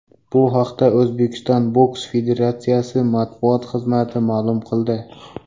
Bu haqda O‘zbekiston boks federatsiyasi matbuot xizmati ma’lum qildi.